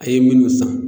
A ye minnu san